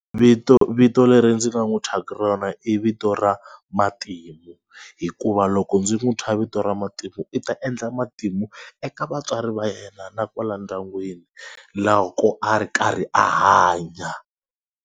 Vito vito leri ndzi nga n'wi thyaka rona i vito ra Matimu hikuva loko ndzi n'wi thya vito ra Matimu i ta endla matimu eka vatswari va yena na kwala ndyangwini loko a ri karhi a hanya.